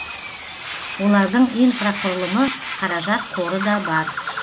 олардың инфрақұрылымы қаражат қоры да бар